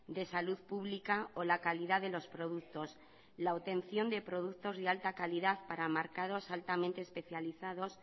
de salud pública o la calidad de los productos la obtención de productos de alta calidad para mercados altamente especializados